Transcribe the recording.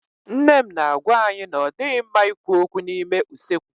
Nne m na-agwá anyị na ọ dịghị mma ikwu okwu n'ime usekwu.